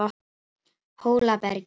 Hólabergi